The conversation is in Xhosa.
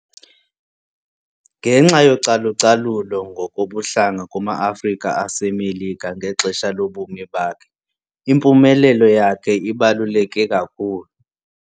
Ngenxa yocalucalulo ngokobuhlanga kuma-Afrika aseMelika ngexesha lobomi bakhe, impumelelo yakhe ibaluleke kakhulu.